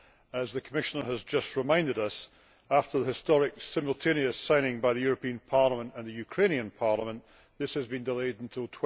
As the Commissioner has just reminded us, after the historic simultaneous signing by the European Parliament and the Ukrainian Parliament, this has been delayed until